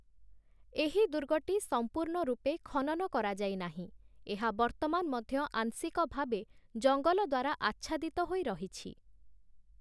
ଏହି ଦୁର୍ଗଟି ସମ୍ପୂର୍ଣ୍ଣ ରୂପେ ଖନନ କରାଯାଇ ନାହିଁ । ଏହା ବର୍ତ୍ତମାନ ମଧ୍ୟ ଆଂଶିକ ଭାବେ ଜଙ୍ଗଲ ଦ୍ୱାରା ଆଚ୍ଛାଦିତ ହୋଇ ରହିଛି ।